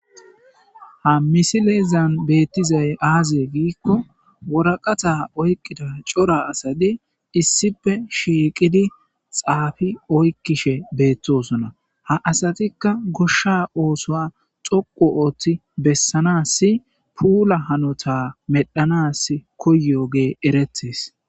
ha misileezan beettizay aaze giikko woraqata oykqida cora asadi issipe shiiqidi xaafi oykkishe beettosona ha asatikka goshsha oosoa xoqu ooththi bessanas puula hanota medhanas koyoge eretes